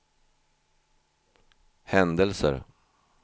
händelser